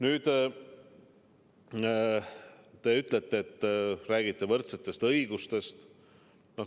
Nüüd te ütlete, et te räägite võrdsetest õigustest.